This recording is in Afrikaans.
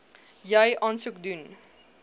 jy aansoek doen